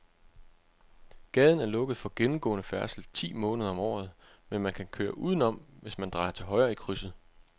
Gaden er lukket for gennemgående færdsel ti måneder om året, men man kan køre udenom, hvis man drejer til højre i krydset.